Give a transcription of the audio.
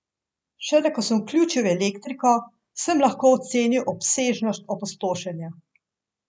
Šele ko sem vključil elektriko, sem lahko ocenil obsežnost opustošenja.